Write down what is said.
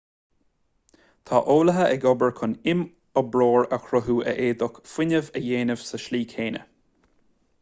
tá eolaithe ag obair chun imoibreoir a chruthú a fhéadfaidh fuinneamh a dhéanamh sa tslí chéanna